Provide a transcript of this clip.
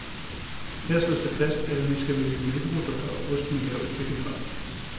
Her slås det fast, at vi skal vælge mælkeprodukter og ost med lavt fedtindhold.